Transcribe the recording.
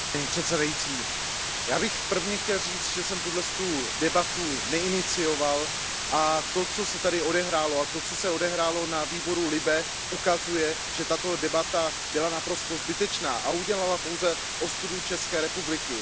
Paní předsedající, já bych prvně chtěl říct, že jsem tuto debatu neinicioval a že to, co se tady odehrálo, a to, co se odehrálo na výboru LIBE, ukazuje, že tato debata byla naprosto zbytečná a udělala pouze ostudu České republice.